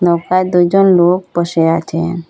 নৌকায় দুইজন লোক বসে আছেন।